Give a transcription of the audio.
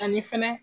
Ani fɛnɛ